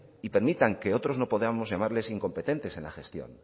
y permitan que otros no podamos llamarles incompetentes en la gestión